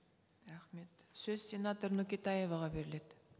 рахмет сөз сенатор нөкетаеваға беріледі